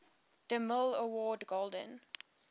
demille award golden